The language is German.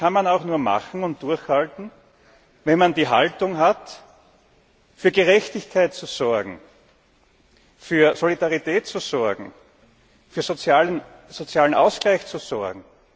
Ich glaube, das kann man auch nur machen und durchhalten, wenn man die Haltung hat, für Gerechtigkeit zu sorgen, für Solidarität zu sorgen, für sozialen Ausgleich zu sorgen.